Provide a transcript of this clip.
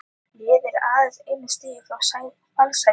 Liðið er aðeins einu stigi frá fallsæti.